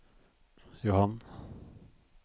Johann